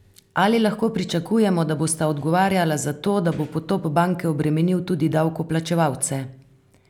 Ali lahko pričakujemo, da bosta odgovarjala za to, da bo potop banke obremenil tudi davkoplačevalce?